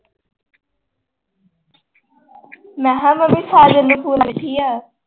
ਮੈਂ ਮੰਮੀ ਸਾਜਨ ਦੇ ਫੂਲ ਦੇਖਿਆ ।